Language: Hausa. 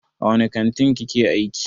A wani kantin kike aiki?